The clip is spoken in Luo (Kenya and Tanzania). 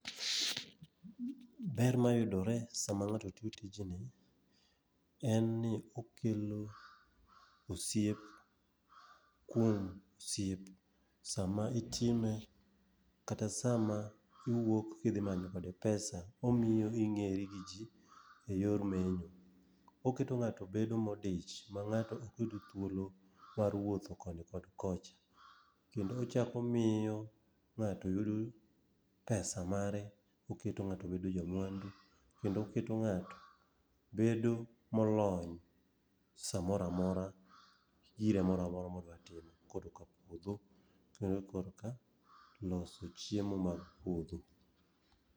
Ber mayudore sama ng'ato tiyo tijni en ni okelo osiep kuom osiep sama itime, kata sama iwuok kidhi manyo kode pesa . Omiyo ing'eri gi ji e yor menyo. Oketo ng'ato bedo modich, ma ng'ato ok yud thuolo mar wuotho koni kod kocha. Kendo ochako omiyo ng'ato yudo pesa mare, oketo ng'ato bedo jamwandu. Kendo oketo ng'ato bedo molony samoro amora, gi gire mora mora modwa timo, koroka puodho, puodho koroka loso chiemo mopuodhi.